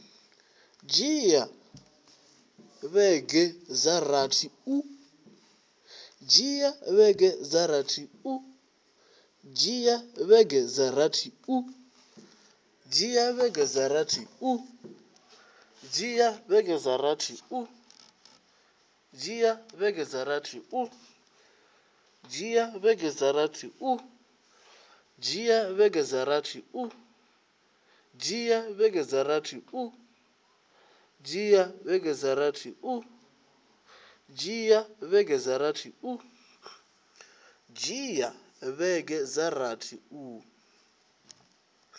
dzhia vhege dza rathi u